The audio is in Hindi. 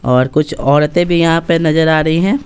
और कुछ औरतें भी यहां पे नजर आ रही हैं।